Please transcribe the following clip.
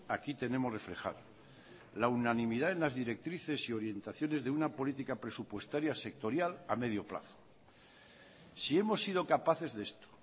aquí tenemos reflejado la unanimidad en las directrices y orientaciones de una política presupuestaria sectorial a medio plazo si hemos sido capaces de esto